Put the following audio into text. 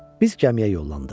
Biz gəmiyə yollandıq.